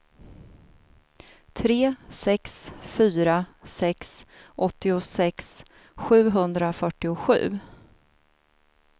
tre sex fyra sex åttiosex sjuhundrafyrtiosju